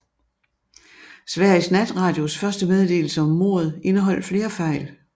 Sveriges natradios første meddelelse om mordet indeholdt flere fejl